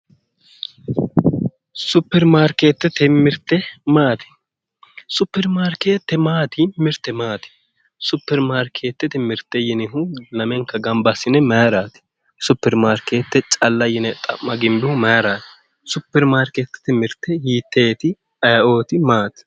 Super markeetete mirte maati super maarkeete maati mirte maati supermaarkeetete mirte yinihu lamenka gamba assinihu mayraati supermaarkeete calla yine xa'ma gimbihu mayraati super maarkeetete mirte hiitteeti aye"ooti maati